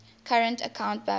current account balance